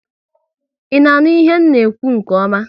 I na-aṅụ ihe na ekwu nke ọma?